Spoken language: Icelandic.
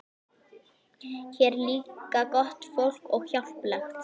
Hér er líka gott fólk og hjálplegt.